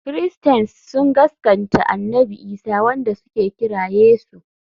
Christains sun gaskanta annabi Isa wanda suka kira Yesu.